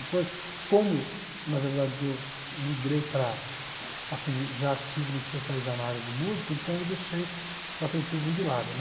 Depois, como, na verdade, eu migrei para, assim, já quis me especializar na área de música, então eu deixei o atletismo de lado, né?